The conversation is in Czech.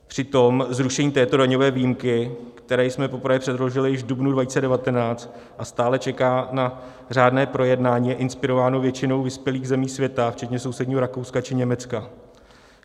Přitom zrušení této daňové výjimky, které jsme poprvé předložili již v dubnu 2019 a stále čeká na řádné projednání, je inspirováno většinou vyspělých zemí světa včetně sousedního Rakouska či Německa.